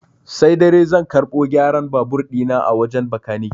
Sai dare zan karɓo gyaran babur ɗi na a wajen bakanike.